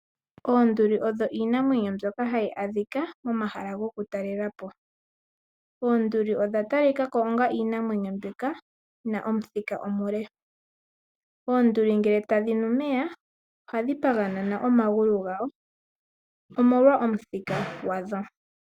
Oonduli odho iinamwenyo ndyoka hayi adhika momahala gokutalelapo. Oonduli odha talikako onga iinamwenyo ndyoka yina omuthika omule. Oonduli ngele tadhi nu omeya ohadhi paganyana omagulu gawo omolwa omuthika gwadho.